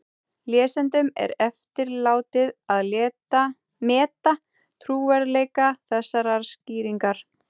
Lesendum er eftirlátið að meta trúverðugleika þessarar skýringar.